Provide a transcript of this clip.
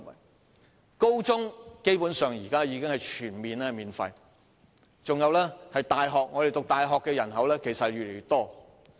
現時高中教育基本上全面免費，入讀大學的人數亦越來越多。